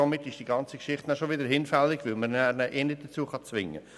Damit ist die ganze Geschichte hinfällig, denn man kann die Person zu nichts zwingen.